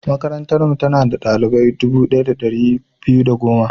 Makarantarmu, tana da ɗalibai dubu ɗaya da ɗari biyu da goma.